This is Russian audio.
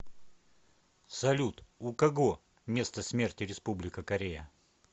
салют у кого место смерти республика корея